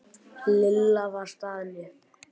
Lilla var staðin upp.